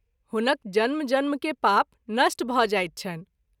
हुनक जन्म जन्म के पाप नष्ट भ’ जाइत छनि।